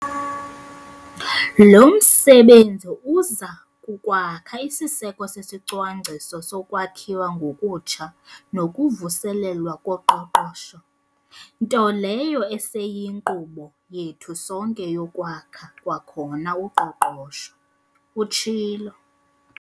"Lo msebenzi uza kukwakha isiseko sesiCwangciso soKwakhiwa ngokuTsha nokuVuselelwa koQoqosho, nto leyo eseyinkqubo yethu sonke yokwakha kwakhona uqoqosho," utshilo.